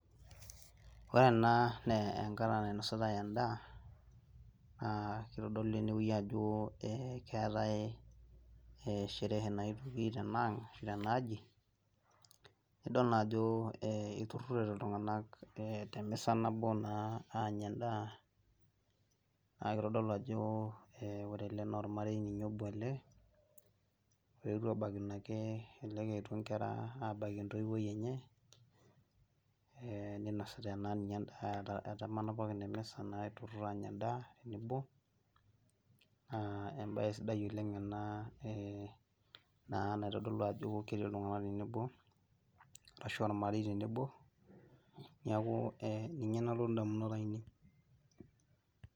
Ore ena naa enkata nainositae endaa aa kitodolu enewueji ajo keetae sherehe naetwoki tenaang' ashu tenaaji nidol naa ajo iturrurrote iltung'anak temisa nabo naa aanya endaa naa kitodolu ajo ore ele naa ormarei ninye obo ele loetwo aabaikino ake, elelek eetwo nkera aabaikino ake, aabaiki entoiwoi enye, ninosita ena daa, etamana pookin emesa aanya endaa tenebo. Embae sidai oleng ena naa naitodolu ajo ketii iltung'anak tenebo ashu ormarei tenebo. Neeku ninye nalotu indamunot ainei